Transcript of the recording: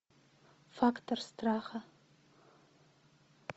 фактор страха